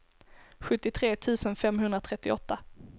sjuttiotre tusen femhundratrettioåtta